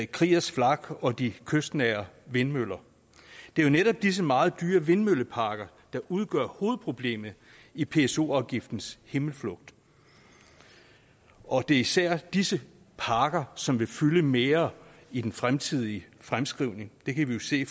kriegers flak og de kystnære vindmøller det er jo netop disse meget dyre vindmølleparker der udgør hovedproblemet i pso afgiftens himmelflugt og det er især disse parker som vil fylde mere i den fremtidige fremskrivning det kan vi jo se